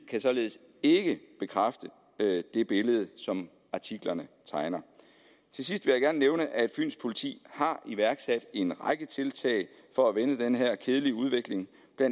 kan således ikke bekræfte det billede som artiklerne tegner til sidst vil jeg gerne nævne at fyns politi har iværksat en række tiltag for at vende den her kedelige udvikling der